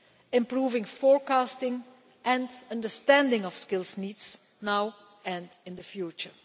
and improving forecasting and understanding of skills needs now and in the future.